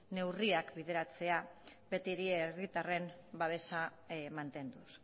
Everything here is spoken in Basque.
neurriak bideratzea betiere herritarren babesa mantenduz